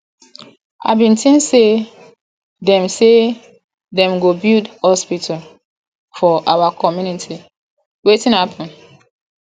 i bin think say dem say dem go build hospital for our community wetin happen